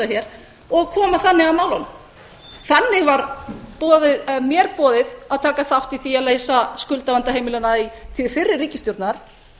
hér og koma þannig að málunum þannig var mér boðið að taka þátt í því að leysa skuldavanda heimilanna í tíð fyrri ríkisstjórnar